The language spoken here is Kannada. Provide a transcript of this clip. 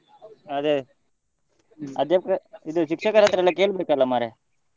ಅದೇ ಅದೇ ಇದು ಶಿಕ್ಷಕರತ್ರ ಎಲ್ಲ ಕೇಳ್ಬೇಕಲ್ಲ ಮರ್ರೆ.